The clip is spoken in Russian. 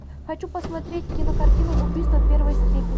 хочу посмотреть кинокартину убийство первой степени